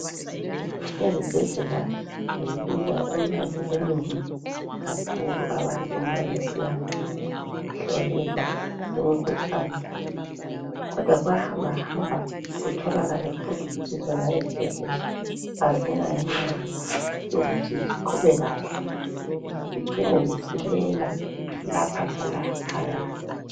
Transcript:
izibhedlela zibiza imali enengi kakhulu abantu nxa besiyahlolelwa imikhuhlane kodwa kuyahambahamba kutholakale futhi ukuthi zona izibhedlela azilayo imali yokuthi ziqhube kahle zicine zisilela lapha lalaphaya